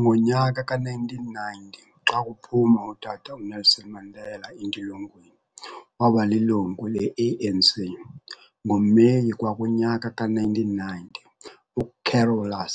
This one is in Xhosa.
Ngonyaka ka1990 xakuphuma utata uNelson Mandela entilongweni wabalilungu leANC.NgoMeyi kwakunyaka ka-1990,UCarolus